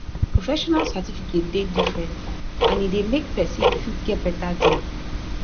professional certificate dey different and e dey make persin fit get better job